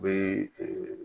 U bɛ